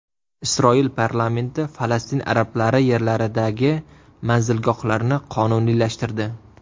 Isroil parlamenti Falastin arablari yerlaridagi manzilgohlarni qonuniylashtirdi.